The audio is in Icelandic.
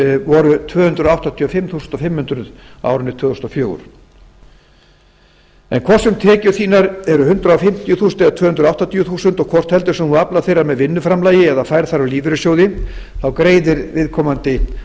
voru tvö hundruð áttatíu og fimm þúsund fimm hundruð krónur á árinu tvö þúsund og fjögur en hvort sem tekjur þínar eru hundrað fimmtíu þúsund eða tvö hundruð áttatíu þúsund og hvort heldur sem þú aflar þeirra með vinnuframlagi eða færð þær úr lífeyrissjóði þá greiðir viðkomandi